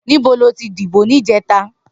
Nibó lótí dibó nijètá?